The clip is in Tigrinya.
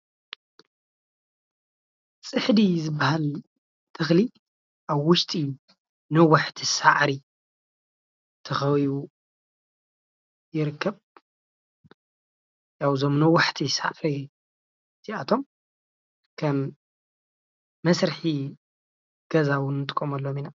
ፅሕዲ ዝበሃል ተኽሊ ኣብ ውሽጢ ነዋሔቲ ሳዕሪ ተኸቢቡ ይርከብ። እዞም ነዋሕታ ሳዕሪ እዚኣቶም ከም መስርሒ ገዛ እውን ንጥቀመሎም ኢና።